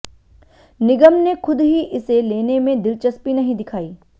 निगम ने खुद ही इसे लेने में दिलचस्पी नहीं दिखाई